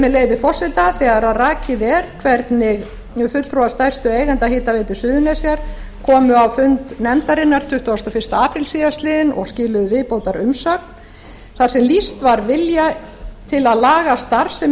með leyfi forseta þegar rakið er hvernig fulltrúar stærstu eigenda hitaveitu suðurnesja komu á fund nefndarinnar tuttugasta og fyrsti apríl síðastliðinn og skiluðu viðbótarumsögn þar sem lýst var vilja til að laga starfsemi þess